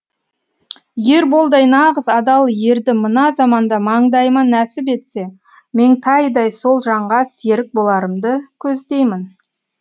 ерболдай нағыз адал ерді мына заманда маңдайыма нәсіп етсе меңтайдай сол жанға серік боларымды көздеймін